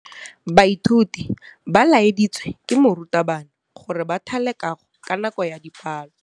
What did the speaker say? Baithuti ba laeditswe ke morutabana gore ba thale kagô ka nako ya dipalô.